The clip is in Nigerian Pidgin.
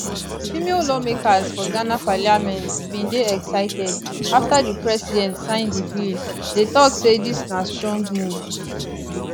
female lawmakers for ghana parliament bin dey excited afta di president sign di bill dey tok say dis na strong move